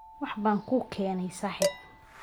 wax baan kuu keenay saaxiib.